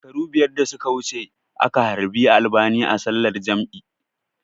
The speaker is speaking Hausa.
Shekaru biyar da suka wuce aka halbi albani a sallar jam'i